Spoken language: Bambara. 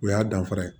O y'a danfara ye